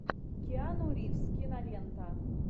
киану ривз кинолента